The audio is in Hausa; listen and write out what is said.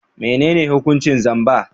Menene hukuncin zamba?